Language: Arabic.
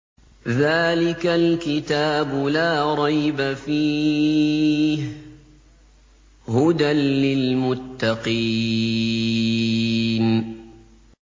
ذَٰلِكَ الْكِتَابُ لَا رَيْبَ ۛ فِيهِ ۛ هُدًى لِّلْمُتَّقِينَ